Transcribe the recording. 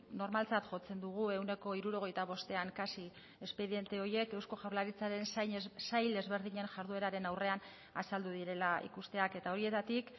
normaltzat jotzen dugu ehuneko hirurogeita bostean kasi espediente horiek eusko jaurlaritzaren sail ezberdinen jardueraren aurrean azaldu direla ikusteak eta horietatik